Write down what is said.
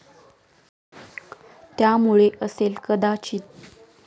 त्यामुळे असेल कदाचित.